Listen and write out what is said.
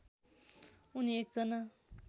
उनी एक जना